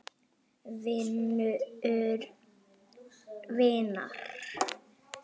Vinur vinar?